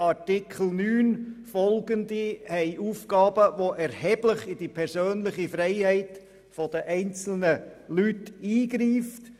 Artikel 9 und folgende enthalten Aufgaben, die erheblich in die persönliche Freiheit der einzelnen Leute eingreifen.